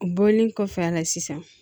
O bɔlen kɔfɛ a la sisan